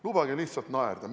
Lubage lihtsalt naerda!